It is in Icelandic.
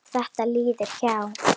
Þetta líður hjá.